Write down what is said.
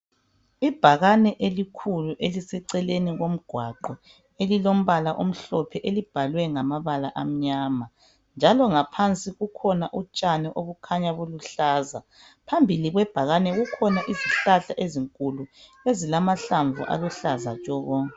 Ibhakane elikhulu eliseceleni komgwaqo elilombala omhlophe elibhalwe ngamabala amnyama njalo ngaphansi kukhona utshani obukhanya buluhlaza. Phambili kwebhakane kukhona izihlahla ezinkulu ezilamahlamvu aluhlaza tshoko.